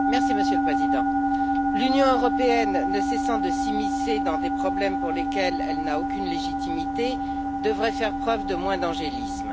Monsieur le Président, l'Union européenne, qui ne cesse de s'immiscer dans des problèmes pour lesquels elle n'a aucune légitimité, devrait faire preuve de moins d'angélisme.